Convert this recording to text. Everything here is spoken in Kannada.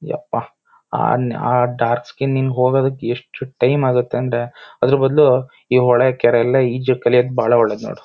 ಯಪ್ಪಾ ಆನ್ ಆ ಡಾರ್ಕ್ಸ್ಕಿನ್ ಹೋಗದಿಕ್ಕೆ ಎಸ್ಟ್ ಟೈಮ್ ಆಗುತ್ತೆ ಅಂದ್ರೆ ಅದರ್ ಬದಲು ಈ ಹೊಳೆ ಕೆರೆಯೆಲ್ಲ ಇಜ್ ಕಲಿಯೋಕ್ಕೆ ಬಹಳ ಒಳ್ಳೇದ್ ನೋಡು.